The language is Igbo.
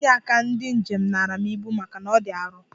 Onye ịnye aka ndi njem nara m ibu maka na ọ dị arọ.